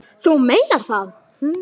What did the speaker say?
Þú meinar það?